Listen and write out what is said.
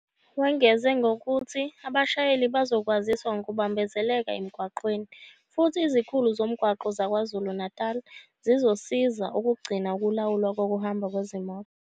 Wengeze ngokuthi abashayeli bazokwaziswa ngokubambezeleka emgwaqeni futhi izikhulu zomgwaqo zaKwaZulu-Natali zizosiza ukugcina ukulawulwa kokuhamba kwezimoto.